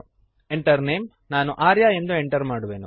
Enter Name ನಾನು ಆರ್ಯ ಎಂದು enter ಮಾಡುವೆನು